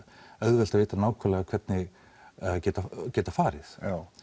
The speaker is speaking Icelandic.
auðvelt að vita nákvæmlega hvernig geta geta farið